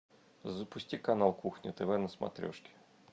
запусти канал кухня тв на смотрешке